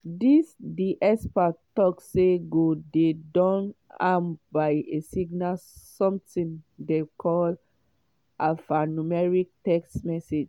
dis di expert tok say go dey don armed by a signal something dem call alphanumeric text message.